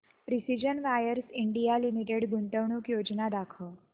precision Wires India Limited गुंतवणूक योजना दाखव